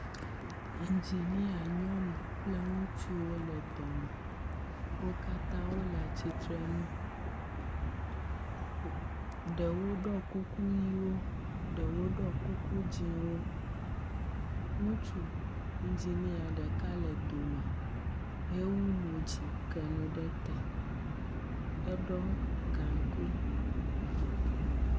Enginia nyɔnu kple ŋutsuwo le dɔ me. Wo katã wole atsitrenu . Ɖewo ɖɔ kuku ʋiwo, ɖewo ɖɔ kuku dziwo. Ŋutsu enginia ɖeka le dome hewu mo dzi ke nu ɖe te heɖɔ gaŋkui.